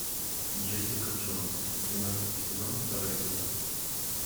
джессика джонс двенадцатый сезон второй эпизод